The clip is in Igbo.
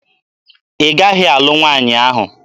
Ị gaghị alụ nwaanyị ahụ!